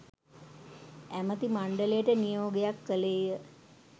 ඇමති මණ්ඩලයට නියෝග කළේය.